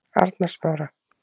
Arnarsmára